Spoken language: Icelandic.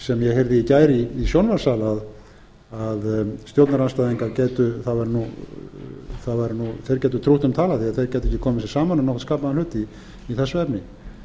sem ég heyrði í gær í sjónvarpssal að stjórnarandstæðingar gætu trútt um talað því þeir gætu ekki komið sér saman um nokkurn skapaðan hlut í þessu efni